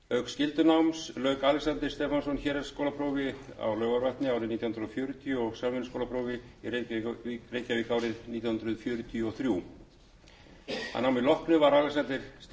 skyldunáms lauk alexander stefánsson héraðsskólaprófi á laugarvatni árið nítján hundruð fjörutíu og samvinnuskólaprófi í reykjavík árið nítján hundruð fjörutíu og þrjú að námi loknu var alexander stefánsson starfsmaður við kaupfélagið dagsbrún í ólafsvík